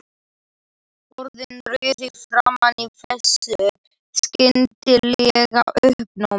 Orðin rauð í framan í þessu skyndilega uppnámi.